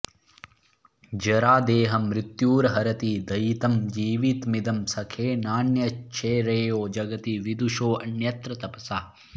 जरा देहं मृत्युर्हरति दयितं जीवितमिदं सखे नान्यच्छ्रेयो जगति विदुषोऽन्यत्र तपसः